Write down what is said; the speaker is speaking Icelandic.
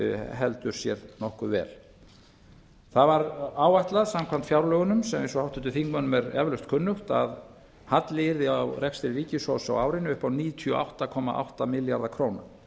heldur sér nokkuð vel það var áætlað samkvæmt fjárlögunum sem eins og háttvirtum þingmönnum er eflaust kunnugt að halli yrði á rekstri ríkissjóðs á árinu upp á níutíu og átta komma átta milljarða króna